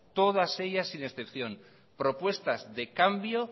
todas ellas sin excepción propuestas de cambio